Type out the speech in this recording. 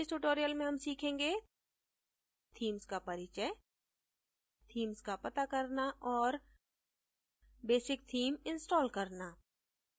इस tutorial में हम सीखेंगेthemes का परिचय themes का पता करना और बेसिक theme इंस्टॉल करना